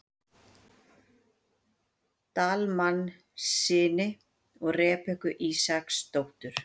Dalmannssyni og Rebekku Ísaksdóttur.